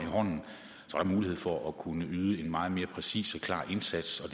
tror at mulighed for at kunne yde en meget mere præcis og klar indsats